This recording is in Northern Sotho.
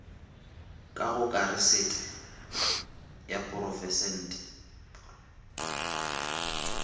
ka go kasete ya porofense